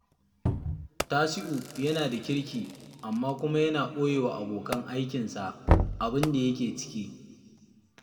Tasi'u yana da kirki, amma kuma yana ɓoye wa abokan aikinsa abin da yake ciki